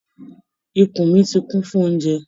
Ikùn mi tí kún fún oúnjẹ.